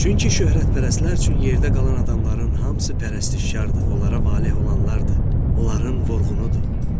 Çünki şöhrətpərəstlər üçün yerdə qalan adamların hamısı pərəstişkardır, onlara valeh olanlardır, onların vurğunudur.